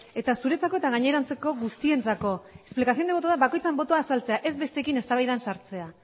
eta zuretzako eta gainerantzeko guztientzako explicación de voto da bakoitzaren botoa azaltzea ez besteekin eztabaidan sartzea